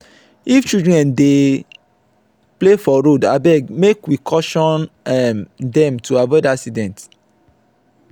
if children dey play for road abeg make we caution um dem to avoid accident.